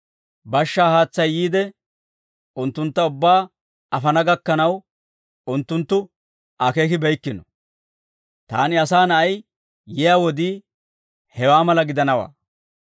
Bashshaa haatsay yiide, unttuntta ubbaa afana gakkanaw, unttunttu akeekibeykkino; taani, Asaa Na'ay, yiyaa wodii, hewaa mala gidanawaa.